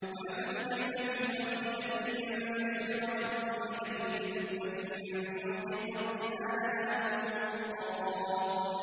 وَمَثَلُ كَلِمَةٍ خَبِيثَةٍ كَشَجَرَةٍ خَبِيثَةٍ اجْتُثَّتْ مِن فَوْقِ الْأَرْضِ مَا لَهَا مِن قَرَارٍ